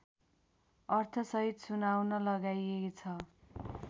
अर्थसहित सुनाउन लगाइएछ